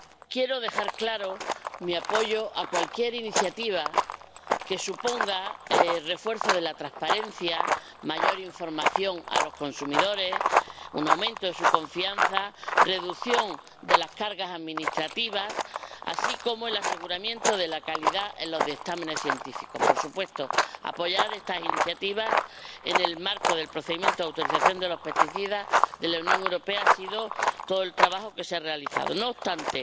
Quiero dejar claro mi apoyo a cualquier iniciativa que suponga el refuerzo de la transparencia, más información a los consumidores, un aumento de su confianza y la reducción de las cargas administrativas, así como asegurar la calidad en los dictámenes científicos. Por supuesto, apoyar estas iniciativas, en el marco del procedimiento de autorización de los plaguicidas de la Unión Europea, ha sido todo el trabajo que se ha realizado. No obstante,